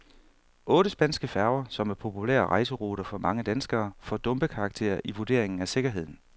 Otte spanske færger, som er populære rejseruter for mange danskere, får dumpekarakter i vurderingen af sikkerheden.